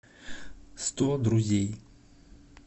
сто друзей